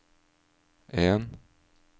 en